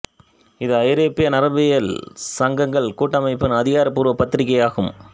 இது ஐரோப்பிய நரம்பியல் சங்கங்கள் கூட்டமைப்பின் அதிகாரப்பூர்வ பத்திரிகை ஆகும்